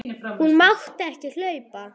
Hún mátti ekki hlaupa.